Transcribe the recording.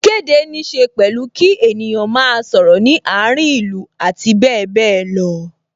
Ìkéde ní ṣe pẹ̀lú kí ènìyàn máa sọ̀rọ̀ ní àárín ìlú abbl.